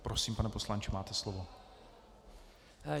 Prosím, pane poslanče, máte slovo.